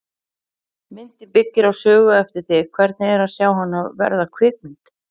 Myndin byggir á sögu eftir þig, hvernig er að sjá hana verða kvikmynd?